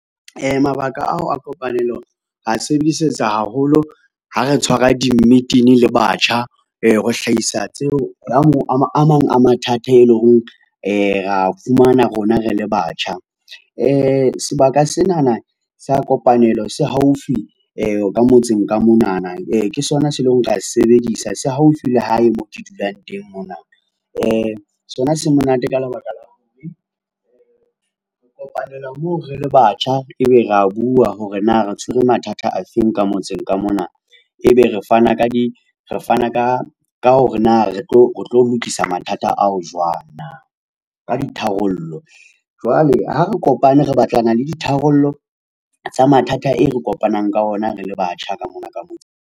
Mabaka ao a kopanelo re a sebedisetsa haholo ha re tshwara di-meeting le batjha, ho hlahisa tseo a a mang a mathata e leng horeng re a fumana rona re le batjha. Sebaka senana sa kopanelo se haufi ka motseng ka monana. Ke sona se leo ra se sebedisa. Se haufi le hae mo ke dulang teng mona. Sona se monate ka lebaka la ho kopanela moo re le batjha. Ebe ra bua hore na re tshwere mathata afeng ka motseng ka mona. Ebe re fana ka di re fana ka hore na re tlo lokisa mathata ao jwang na ka di tharollo. Jwale ha re kopane re batlana le ditharollo tsa mathata e re kopanang ka ona re le batjha ka mona ka .